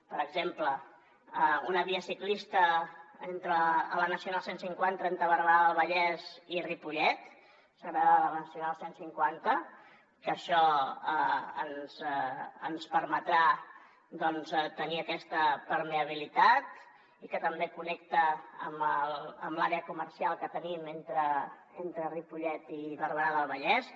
per exemple una via ciclista a la nacional cent i cinquanta entre barberà del vallès i ripollet segregada de la nacional cent i cinquanta que això ens permetrà tenir aquesta permeabilitat i que també connecta amb l’àrea comercial que tenim entre ripollet i barberà del vallès